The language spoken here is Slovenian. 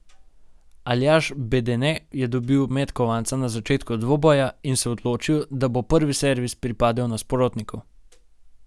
Aljaž Bedene je dobil met kovanca na začetku dvoboja in se odločil, da bo prvi servis pripadel nasprotniku.